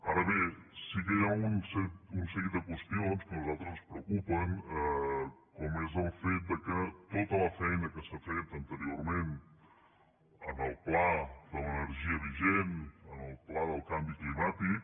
ara bé sí que hi ha un seguit de qüestions que a nosaltres ens preocupen com és el fet que tota la feina que s’ha fet anteriorment en el pla de l’energia vigent en el pla del canvi climàtic